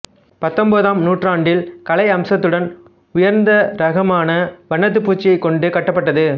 பத்தொன்பதால் நுற்றாண்டில் கலை அம்சத்துடன் உயர்ந்தரகமான வண்ணப்பூச்சைக் கொண்டு கட்டப்பட்டது